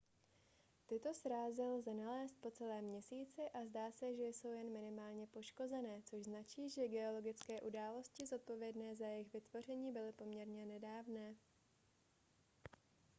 tyto srázy lze nalézt po celém měsíci a zdá se že jsou jen minimálně poškozené což značí že geologické události zodpovědné za jejich vytvoření byly poměrně nedávné